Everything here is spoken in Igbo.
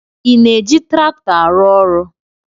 Ị na-eji traktọ arụ ọrụ?